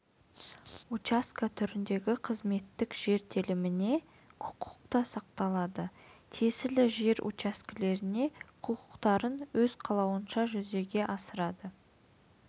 учаске түріндегі қызметтік жер теліміне құқық та сақталады тиесілі жер учаскелеріне құқықтарын өз қалауынша жүзеге асырады